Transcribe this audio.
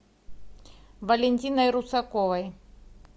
валентиной русаковой